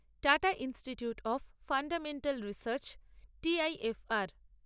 tata institute of fundamental research TIFR